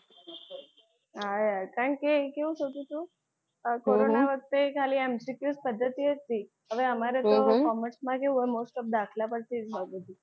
હા યાર કારણ કે એ કેવું થતું હતું કોરોના વખતે ખાલી MCQ પદ્ધતિ હતી. હવે અમારે તો કોમર્સમાં કેવું હોય દાખલા પરથી જ હોય બધું.